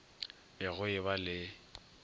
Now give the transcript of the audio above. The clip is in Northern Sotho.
be go e ba le